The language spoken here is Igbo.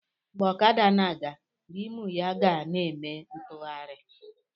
Mgbe ọkada na-aga, rimụ ya ga na-eme ntụgharị